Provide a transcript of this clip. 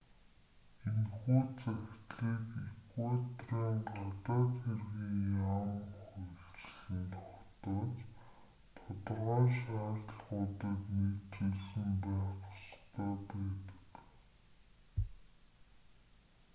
энэхүү захидлыг эквадорын гадаад хэргийн яам хуульчлан тогтоож тодорхой шаардлагуудад нийцүүлсэн байх ёстой байдаг